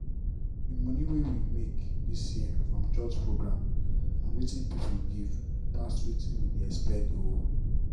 d money wey we make this year from church program and wetin people give pass wetin we dey expect o.